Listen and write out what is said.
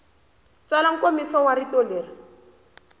tsala nkomiso wa rito leri